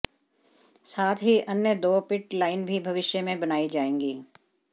साथ ही अन्य दो पिट लाइन भी भविष्य में बनाई जाएगी